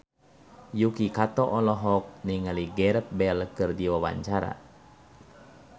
Yuki Kato olohok ningali Gareth Bale keur diwawancara